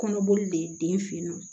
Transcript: Kɔnɔboli den fennɔn